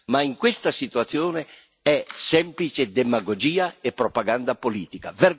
Ma in questa situazione è semplice demagogia e propaganda politica.